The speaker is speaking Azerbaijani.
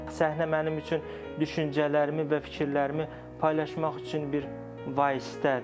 Səhnə mənim üçün düşüncələrimi və fikirlərimi paylaşmaq üçün bir vasitədir.